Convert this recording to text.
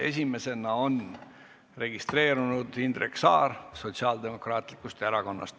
Esimesena on registreerunud Indrek Saar Sotsiaaldemokraatlikust erakonnast.